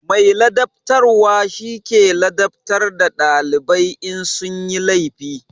Mai ladabtarwa shi ke ladabtar da dalibai in sun yi laifi.